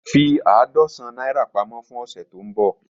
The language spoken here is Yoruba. Fi àádọ́sán naira pamọ fun ọsẹ ti nbọ.